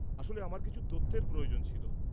আসলে আমার কিছু তথ্যের প্রয়োজন ছিল।